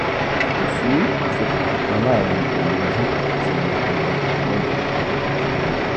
kò sí ìsopọ̀ kankan láàárín óòyì ojú àti iye pẹlẹbẹ inú ẹ̀jẹ̀ tó dínkù um